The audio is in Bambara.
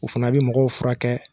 U fana bɛ mɔgɔw furakɛ.